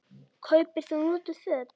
Kaupir þú notuð föt?